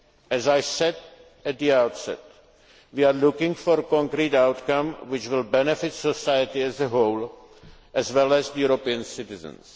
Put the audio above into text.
action. As I said at the outset, we are looking for a concrete outcome which will benefit society as a whole, as well as European